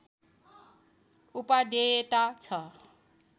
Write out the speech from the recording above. उपादेयता छ